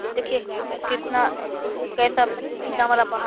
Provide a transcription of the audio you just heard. देखिये कितना कैसा कितना बड़ा पहाड़ --